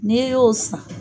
N'i y'o san